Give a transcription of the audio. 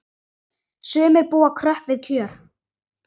Sumir búa kröpp við kjör.